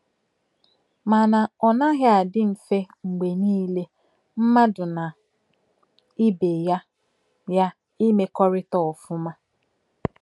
Mana ọ naghị adị mfe mgbe niile mmadụ na ibe ya ya ịmekọrịta ọfụma.